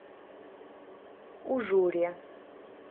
ужуре